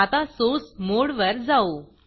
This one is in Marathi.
आता Sourceसोर्स मोडवर जाऊ